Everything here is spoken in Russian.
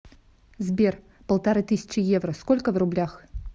сбер полторы тысячи евро сколько в рублях